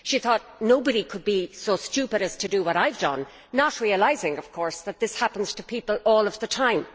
She thought nobody could be so stupid as to do what she had done, not realising of course that this happens to people all the time.